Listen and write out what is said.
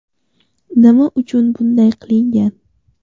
Nima uchun bunday qilingan?